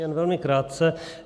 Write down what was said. Jen velmi krátce.